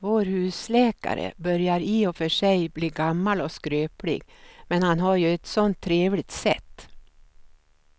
Vår husläkare börjar i och för sig bli gammal och skröplig, men han har ju ett sådant trevligt sätt!